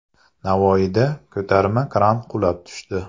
Navoiyda ko‘tarma kran qulab tushdi.